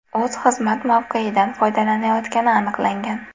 o‘z xizmat mavqeyidan foydalanayotgani aniqlangan.